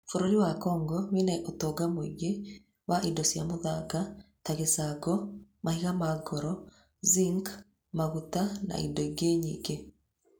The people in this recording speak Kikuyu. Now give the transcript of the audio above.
Bũrũri wa Congo wĩ na ũtonga mũingĩ wa indo cia mũthanga ta gĩcango, mahiga ma goro, zinc, maguta, na indo ingĩ nyingĩ.